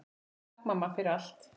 Takk mamma, fyrir allt.